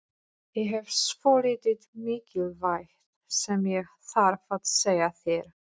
Ég hef svolítið mikilvægt sem ég þarf að segja þér.